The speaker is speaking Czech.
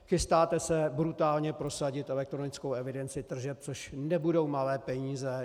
Chystáte se brutálně prosadit elektronickou evidenci tržeb, což nebudou malé peníze.